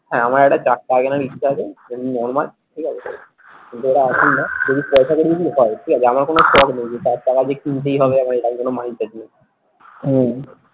হ্যাঁ আমার একটা চার চাকা কেনার ইচ্ছা আছে ওরম normal ঠিক আছে কিন্তু ঐটা এখন না যদি পয়সা করি যদি হয় ঠিক আছে আমার কোনো শখ নেই যে চার চাকা যে কিনতেই হবে আমার এরকম কোনো mindset নেই হম